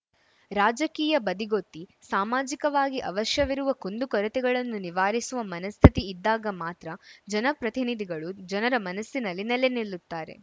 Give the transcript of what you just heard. ರಾಜಕೀಯ ಬದಿಗೊತ್ತಿ ಸಾಮಾಜಿಕವಾಗಿ ಅವಶ್ಯವಿರುವ ಕುಂದುಕೊರತೆಗಳನ್ನು ನಿವಾರಿಸುವ ಮನಸ್ಥಿತಿ ಇದ್ದಾಗ ಮಾತ್ರ ಜನಪ್ರತಿನಿಧಿಗಳು ಜನರ ಮನಸ್ಸಿನಲ್ಲಿ ನೆಲೆ ನಿಲ್ಲುತ್ತಾರೆ